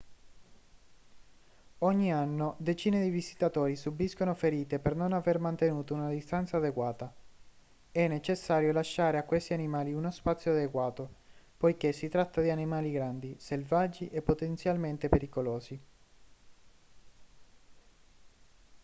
ogni anno decine di visitatori subiscono ferite per non aver mantenuto una distanza adeguata è necessario lasciare a questi animali uno spazio adeguato poiché si tratta di animali grandi selvaggi e potenzialmente pericolosi